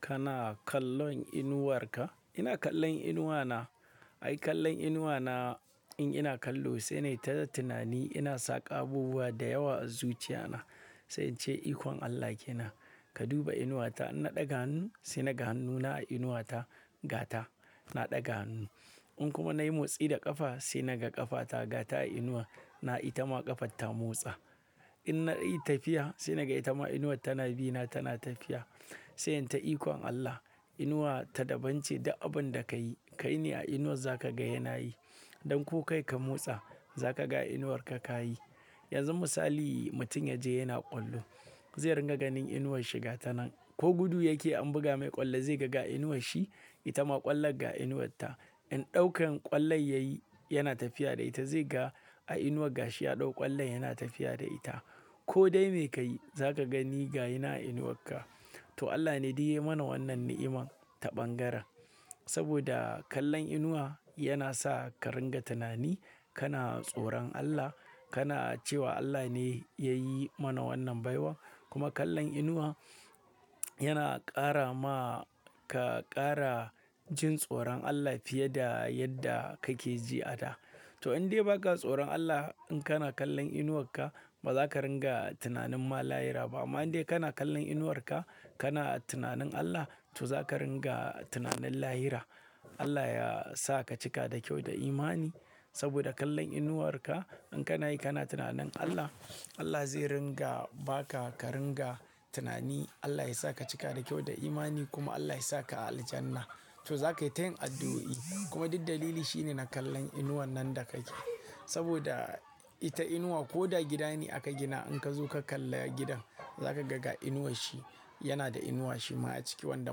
Kana kallon inuwarka? Ina kallon inuwa na. Ai, kallon inuwa na, in ina kallo, sai na yi ta da tunani. Ina saka abubuwa da yawa a zuciya na, sai in ce ikon Allah ke nan. Ka duba inuwata, in na ɗaga hannu sai naga hannuna a inuwata, gata na ɗaga hannu. In kuma na yi motsi da ƙafa, sai naga ƙafata gata a inuwa, na ita ma ƙafata motsa. In na yi tafiya, sai naga ita ma inuwa tana bi na, tana tafiya. Sai in ta ikon Allah, inuwa ta daban ce da abin da ka yi. Kai ne a inuwar za ka ga yana yi. Don ko kai ka motsa, za ka ga inuwarka ka yi. Yanzu misali, mutum ya je yana ƙwallo, zai ringa ganin inuwar shi gata nan. Ko gudu yake an buga mai ƙwallo, zai gaga inuwar shi, ita ma ƙwallon ga inuwarta. In ɗaukan ƙwallon ya yi, yana tafiya da ita. Zai ga a inuwar gashiya ɗau ƙwallon yana tafiya da ita. Ko dai me ka yi, za ka gani ga yana a inuwarka. To Allah ne diya yi mana wannan na'iman ta ɓangaren. Saboda kallon inuwa yana sa ka ringa tunani. Kana tsoron Allah. Kana cewa Allah ne ya yi mana wannan baiwa. Kuma kallon inuwa yana ƙara ma ka ƙara jin tsoron Allah fiye da yadda kake ji a da. To in dai ba ka tsoron Allah, in kana kallon inuwarka, ba za ka ringa tunanin mala'ira ba. Amma in dai kana kallon inuwarka, kana tunanin Allah, to za ka ringa tunanin lahira. Allah ya sa ka cika da kyau da imani saboda kallon inuwarka. In kana yi, kana tunanin Allah, Allah zai ringa ba ka ka ringa tunani. Allah ya sa ka cika da kyau da imani kuma Allah ya sa ka Aljanna. To za ka yi tayin addu'o'i kuma duk dalili shi ne na kallon inuwan nan da kake. Saboda ita inuwa ko da gida ne aka gina, in ka zo ka kalla gidan, za ka gaga inuwar shi. Yana da inuwa shi ma a ciki wanda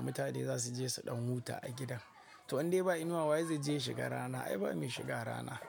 mutane za su je su ɗan huta a gidan. To in dai ba inuwa wa ye zai je shiga rana? Ai, ba me shiga rana.